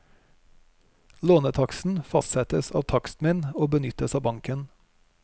Lånetaksten fastsettes av takstmenn og benyttes av banken.